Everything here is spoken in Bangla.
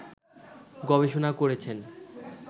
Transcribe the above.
গবেষণা করেছেন